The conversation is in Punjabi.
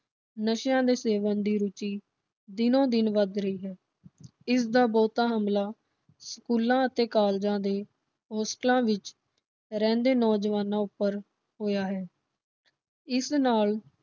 ਨਸ਼ਿਆਂ ਦੇ ਸੇਵਨ ਦੀ ਰੁਚੀ ਦਿਨੋ ਦਿਨ ਵੱਧ ਰਹੀ ਹੈ। ਇਸ ਦਾ ਬਹੁਤਾ ਹਮਲਾ ਸਕੂਲਾਂ ਅਤੇ ਕਾਲਜਾਂ ਦੇ ਹੌਸਟਲਾਂ ਵਿਚ ਰਹਿੰਦੇ ਨੌਜਵਾਨਾਂ ਉਪਰ ਹੋਇਆ ਹੈ। ਇਸ ਨਾਲ